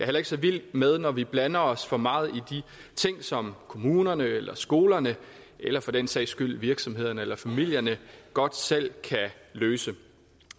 heller ikke så vild med når vi blander os for meget i de ting som kommunerne eller skolerne eller for den sags skyld virksomhederne eller familierne godt selv kan løse